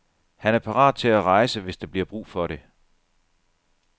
Han er parat til at rejse, hvis der bliver brug for det.